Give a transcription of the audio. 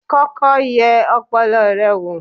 kọ́kọ́ yẹ ọpọlọ rẹ wò!